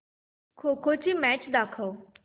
खो खो ची मॅच दाखव